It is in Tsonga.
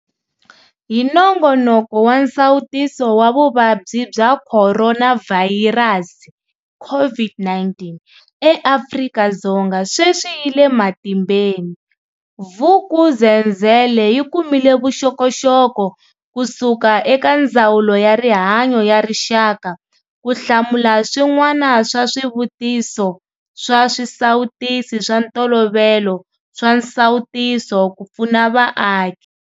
Hi nongonoko wa nsawutiso wa Vuvabyi bya Khoronavhayirasi, CO VID-19, eAfrika-Dzonga sweswi yi le matimbeni, Vuk'uzenzele yi kumile vuxokoxoko kusuka eka Ndzawulo ya Rihanyo ya Rixaka ku hlamula swin'wana swa swivuti so swa swisawutisi swa ntolovelo swa nsawutiso ku pfuna vaaki.